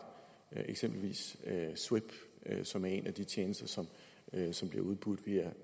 eksempelvis swipp som er en af de tjenester som bliver udbudt via